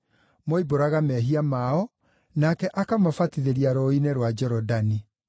Moimbũraga mehia mao, nake akamabatithĩria Rũũĩ-inĩ rwa Jorodani.